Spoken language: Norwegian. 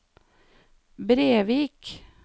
Brevik